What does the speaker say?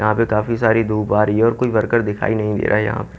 यहां पे काफी सारी धूप आ रही है और कोई वर्कर दिखाई नही दे रहा यहा पे--